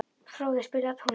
Fróði, spilaðu tónlist.